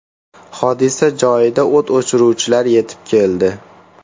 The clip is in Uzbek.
Hodisa joyiga o‘t o‘chiruvchilar yetib keldi.